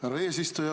Härra eesistuja!